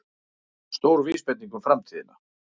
Stór vísbending um framtíðina